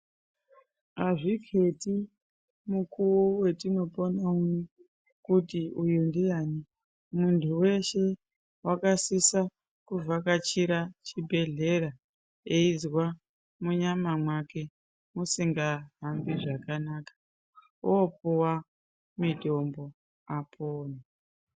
Azvikheti mukuwo wetinopona uno Kuti uyu ndiani muntu weshe wakasisa kuvhakachira chibhehlera eizwa munyama mwake muzingahambi zvakanaka opuwa mitombo apone.